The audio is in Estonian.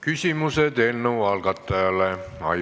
Küsimused eelnõu algatajate esindajale.